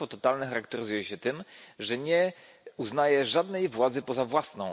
Państwo totalne charakteryzuje się tym, że nie uznaje żadnej władzy poza własną.